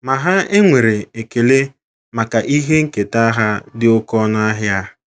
Ma ha enwere ekele maka ihe nketa ha dị oké ọnụ ahịa.